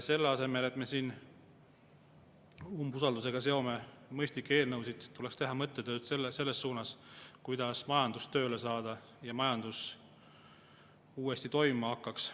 Selle asemel, et siin umbusaldusega siduda mõistlikke eelnõusid, tuleks teha mõttetööd ja mõelda, kuidas majandus tööle saada, nii et see uuesti toimima hakkaks.